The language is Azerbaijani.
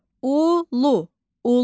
Ulu, ulu.